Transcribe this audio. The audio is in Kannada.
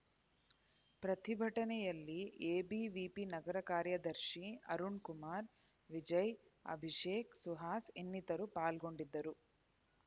ಪ್ರತಿಭಟನೆಯಲ್ಲಿ ಎಬಿವಿಪಿ ನಗರ ಕಾರ್ಯದರ್ಶಿಅರುಣ್‌ ಕುಮಾರ್‌ ವಿಜಯ್‌ ಅಭಿಷೇಕ್‌ ಸುಹಾಸ್‌ ಇನ್ನಿತರರು ಪಾಲ್ಗೋಂಡಿದ್ದರು